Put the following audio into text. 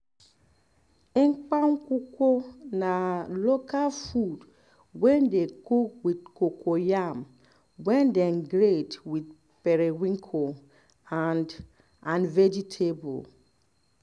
um ekpan nkukwo na local food wey dey cook with um cocoyam wey dem grate with periwinkle um and um and vegetable